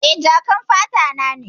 Eh, jakan fata na ne.